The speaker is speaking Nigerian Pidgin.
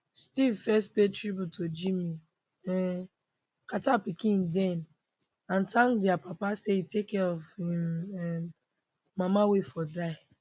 steve first pay tribute to jimmy um carter pikin dem and thank dia papa say e take care of im um mama wen ford die